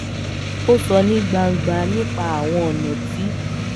ó sọ ní gbangba nipa àwọn ọnà tí